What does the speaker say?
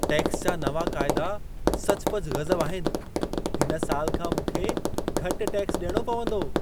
Tax जा नवां क़ाइदा सचुपचु गज़ब आहिनि। हिन साल खां मूंखे घटि टैक्स ॾियणो पवंदो!